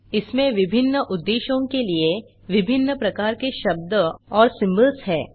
इसमें विभिन्न उद्देश्यों के लिए विभिन्न प्रकार के शब्द और सिम्बोल्स हैं